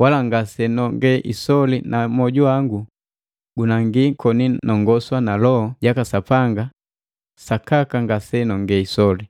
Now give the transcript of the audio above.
wala ngase nonge isole na moju wangu gunangi koni nongoswa na Loho jaka Sapanga sakaka ngase nonge isoli.